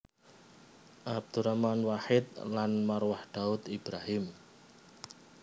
Abdurrahman Wahid lan Marwah Daud Ibrahim